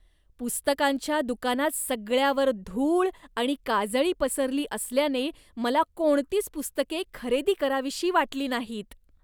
पुस्तकांच्या दुकानात सगळ्यावर धूळ आणि काजळी पसरली असल्याने मला कोणतीच पुस्तके खरेदी करावीशी वाटली नाहीत.